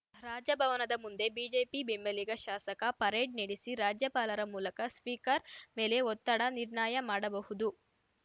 ರಾಜಭವನದ ಮುಂದೆ ಬಿಜೆಪಿ ಬೆಂಬಲಿಗ ಶಾಸಕ ಪರೇಡ್‌ ನಡೆಸಿ ರಾಜ್ಯಪಾಲರ ಮೂಲಕ ಸ್ಪೀಕರ್‌ ಮೇಲೆ ಒತ್ತಡ ನಿರ್ಣಾಯ ಮಾಡಬಹುದು